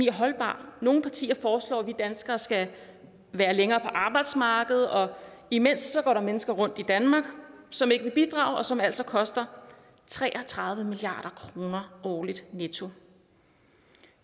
er holdbar nogle partier foreslår at vi danskere skal være længere på arbejdsmarkedet og imens går der mennesker rundt i danmark som ikke vil bidrage og som altså koster tre og tredive milliard kroner årligt netto